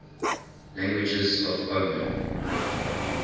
languages of oman